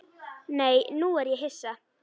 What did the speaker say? Nei, nú er ég hissa!